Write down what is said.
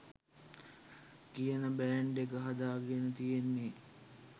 කියන බෑන්ඩ් එක හදාගෙන තියෙන්නෙ.